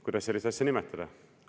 Kuidas sellist asja nimetada?